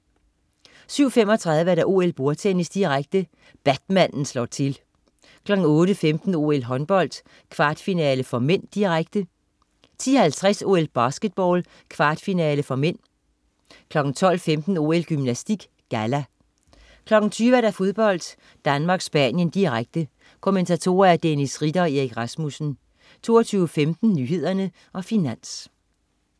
07.35 OL: Bordtennis, direkte. Batmanden slår til 08.15 OL: Håndbold, kvartfinale (m), direkte 10.50 OL: Basketball, kvartfinale (m) 12.15 OL: Gymnastik, galla 20.00 Fodbold: Danmark-Spanien, direkte. Kommentatorer: Dennis Ritter og Erik Rasmussen 22.15 Nyhederne og Finans